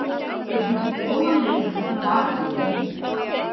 Getum sýnt góðan leik og baráttuvilja